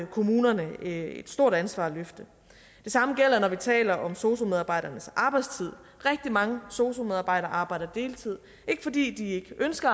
kommunerne et stort ansvar at løfte det samme gælder når vi taler om sosu medarbejdernes arbejdstid rigtig mange sosu medarbejdere arbejder på deltid ikke fordi de ikke ønsker